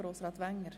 der SiK.